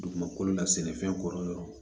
Dugumakolo la sɛnɛfɛn kɔrɔ